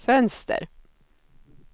fönster